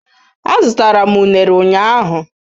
Azụtara m unere ụnyahụ.